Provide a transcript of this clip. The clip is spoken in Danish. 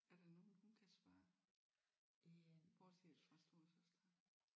Er der nogen hun kan spørge bortset fra storesøster